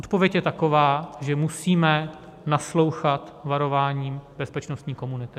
Odpověď je taková, že musíme naslouchat varování bezpečnostní komunity.